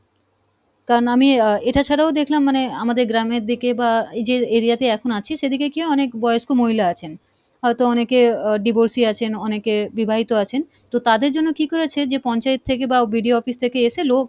কারণ আমি আহ এটা ছাড়াও দেখলাম মানে আমাদের গ্রামের দিকে বা এই যে area তে এখন আছি সেদিকে কী অনেক বয়স্ক মহিলা আছেন, হয়তো অনেকে আহ divorcee আছেন অনেকে বিবাহিত আছেন তো, তাদের জন্য কী করেছে যে পঞ্চায়েত থেকে বা BDO office থেকে এসে লোক